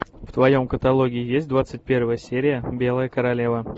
в твоем каталоге есть двадцать первая серия белая королева